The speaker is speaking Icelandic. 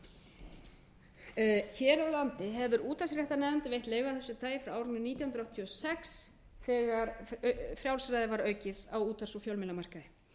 pöntun hér á landi hefur útvarpsréttarnefnd veitt leyfi af þessu tagi frá árinu nítján hundruð áttatíu og sex þegar frjálsræði var aukið á útvarps og fjölmiðlamarkaði